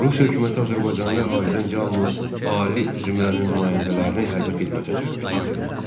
Rusiya hökuməti azərbaycanlı əhalidən yalnız ali zümrənin nümayəndələrini hərbi xidmətə cəlb edirdi.